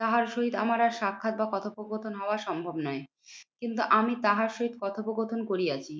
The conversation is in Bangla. তাহার সহিত আমার আর সাক্ষাৎ বা কথোপকথন হওয়া সম্ভব নয়। কিন্তু আমি তাহার সহিত কথোপকথন করিয়াছি।